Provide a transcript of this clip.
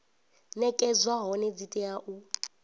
nekedzwa hone dzi tea u